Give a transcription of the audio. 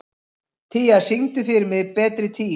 Tía, syngdu fyrir mig „Betri tíð“.